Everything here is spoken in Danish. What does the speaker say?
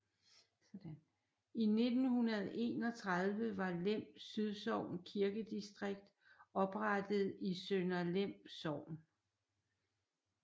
I 1931 var Lem Sydsogn Kirkedistrikt oprettet i Sønder Lem Sogn